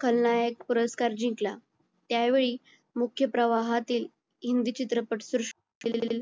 खलनायक पुरस्कार जिंकला त्यावेळी मुख्य प्रवाहातील हिंदी चित्रपट सृष्टी